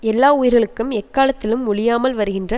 எல்லா உயிர்களுக்கும் எக்காலத்திலும் ஒழியாமல் வருகின்ற